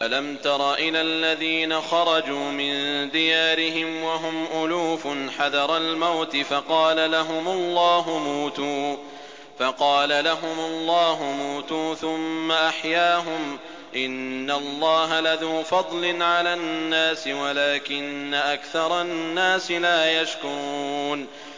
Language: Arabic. ۞ أَلَمْ تَرَ إِلَى الَّذِينَ خَرَجُوا مِن دِيَارِهِمْ وَهُمْ أُلُوفٌ حَذَرَ الْمَوْتِ فَقَالَ لَهُمُ اللَّهُ مُوتُوا ثُمَّ أَحْيَاهُمْ ۚ إِنَّ اللَّهَ لَذُو فَضْلٍ عَلَى النَّاسِ وَلَٰكِنَّ أَكْثَرَ النَّاسِ لَا يَشْكُرُونَ